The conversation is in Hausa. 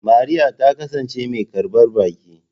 Mariya ta kasance mai karbar baki.